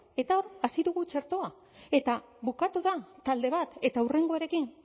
eta hasi dugu txertoa eta bukatu da talde bat eta hurrengoarekin